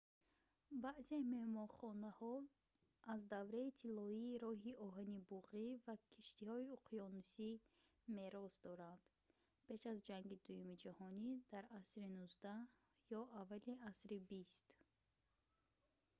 баъзе меҳмонхонаҳо аз давраи тиллоии роҳи оҳани буғӣ ва киштиҳои уқёнусӣ мерос доранд пеш аз ҷанги дуюми ҷаҳонӣ дар асри 19 ё аввали асри 20